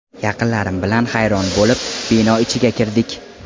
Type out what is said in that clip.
Yaqinlarim bilan hayron bo‘lib, bino ichiga kirdik.